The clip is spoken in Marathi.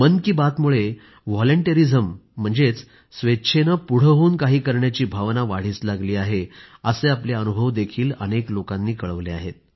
मन की बातमुळे व्हॉलंटेरिझम म्हणजेच स्वेच्छेनं पुढं होवून काही करण्याची भावना वाढीस लागली आहे असे आपले अनुभवही अनेक लोकांनी कळवले आहेत